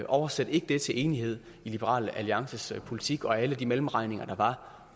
oversæt ikke det til enighed i liberal alliances politik og alle de mellemregninger der var